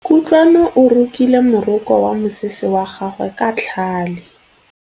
Kutlwanô o rokile morokô wa mosese wa gagwe ka tlhale.